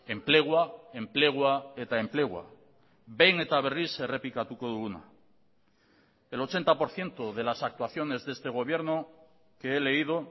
enplegua enplegua eta enplegua behin eta berriz errepikatuko duguna el ochenta por ciento de las actuaciones de este gobierno que he leído